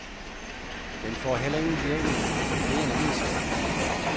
Den får heller ingen virkning, men det er en anden sag.